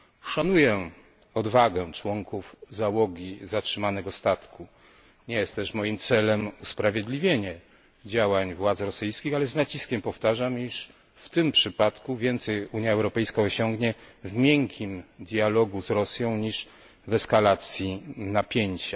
Szanuję odwagę członków załogi zatrzymanego statku, nie jest też moim celem usprawiedliwienie działań władz rosyjskich, ale z naciskiem powtarzam, iż w tym przypadku więcej Unia Europejska osiągnie w miękkim dialogu z Rosją niż w eskalacji napięcia.